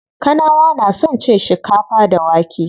Kanawa na son cin shikafa da wake.